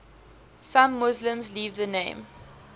some muslims leave the name